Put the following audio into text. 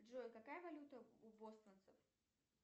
джой какая валюта у бостонцев